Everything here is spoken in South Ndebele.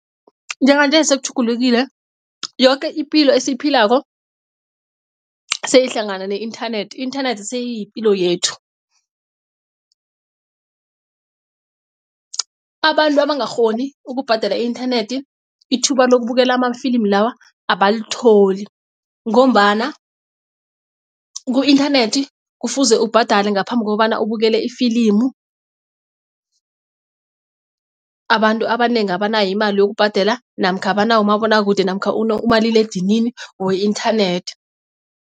Njenganje sekutjhugulukile yoke ipilo esiyiphilako seyihlangana ne-inthanethi i-inthanethi seyiyipilo yethu. Abantu abangakghoni ukubhadela i-inthanethi ithuba lokubukela amafilimu lawa abalitholi ngombana ku-inthanethi kufuze ubhadale ngaphambi kokobana ubukele ifilimu. Abantu abanengi abanayo imali yokubhadela namkha abanawo umabonwakude namkha umaliledinini we-inthanethi.